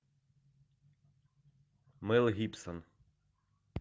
мел гибсон